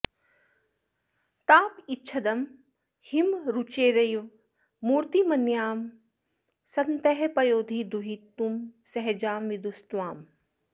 तापच्छिदं हिम रुचेरिव मूर्तिमन्यां सन्तः पयोधि दुहितुः सहजां विदुस्त्वाम्